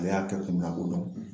Ale y'a kɛ kun min na a b'o dɔn